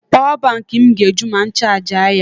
Pawa bankị m ga-eju ma m chajịa ya.